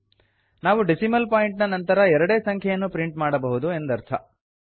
ನಾವು decimal point ನ ನಂತರ ಎರಡೇ ಸಂಖ್ಯೆಯನ್ನು ಪ್ರಿಂಟ್ ಮಾಡಬಹುದು ಎಂದರ್ಥ